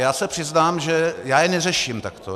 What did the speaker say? Já se přiznám, že já je neřeším takto.